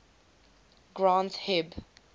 granth hib